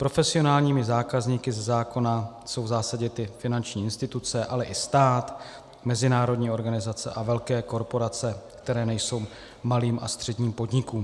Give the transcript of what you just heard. Profesionálními zákazníky ze zákona jsou v zásadě ty finanční instituce, ale i stát, mezinárodní organizace a velké korporace, které nejsou malým a středním podnikem.